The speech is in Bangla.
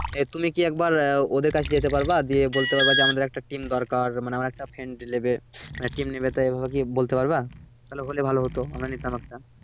তুমি কি একবার ওদের কাছে যেতে পারবা দিয়ে বলতে পারবা যে আমাদের একটা team দরকার মানে আমার একটা friend লেবে মানে team নেবে এভাবে কি বলতে পারবা? তাহলে হলে ভালো হতো আমরা নিতাম একটা